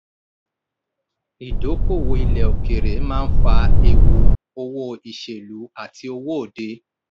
ìdókòwò ilẹ̀ òkèèrè máa ń fà ewu owó ìṣèlú àti owó òde.